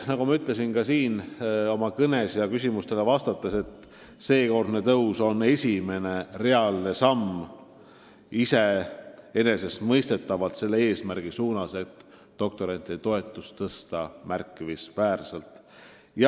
Nagu ma juba oma kõnes ja küsimustele vastates märkisin, seekordne tõus on esimene reaalne samm selle eesmärgi poole, et doktorantide toetus kasvab märkimisväärselt.